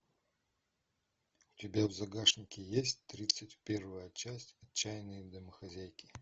у тебя в загашнике есть тридцать первая часть отчаянные домохозяйки